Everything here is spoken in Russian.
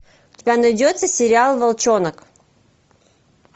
у тебя найдется сериал волчонок